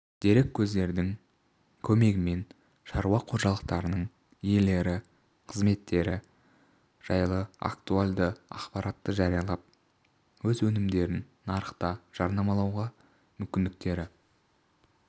дереккөздің көмегімен шаруа қожалықтарының иелері қызметтері жайлы актуалды ақпаратты жариялап өз өнімдерін нарықта жарнамалауға мүмкіндіктері